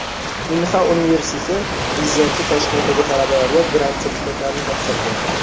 Inha universiteti prezidenti Toshkentdagi talabalarga grant sertifikatlarini topshirdi.